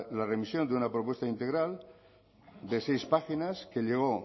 la remisión de una propuesta integral de seis páginas que llegó